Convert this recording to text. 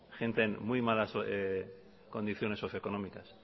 gente en muy malas condiciones socioeconómicas